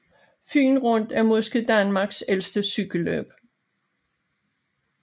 Fyen Rundt er måske Danmarks ældste cykelløb